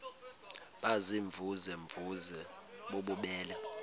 baziimvuze mvuze bububele